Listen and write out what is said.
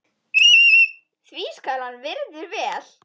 því skal hann virður vel.